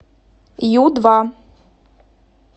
ю два